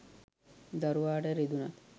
දරුවාට රිදුනත්,